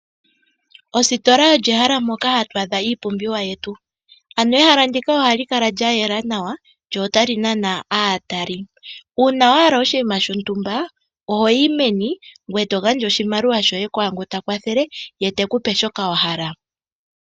Ositola olyo ehala ndyoka hatwaadha iipumbiwa yetu, ano ehala ndika ohali kala lya yela nawa lyo otali nana aataleli, uuna wahala oshiima shontumba ohoyi meni gwee to gandja oshimaliwa shoye kwaangu takwathele yetekupe shoka wahala.